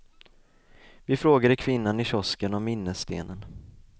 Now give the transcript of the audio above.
Vi frågade kvinnan i kiosken om minnestenen.